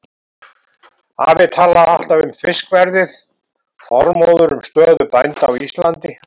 Afi talaði alltaf um fiskverðið, Þormóður um stöðu bænda á Íslandi.